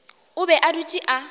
o be a dutše a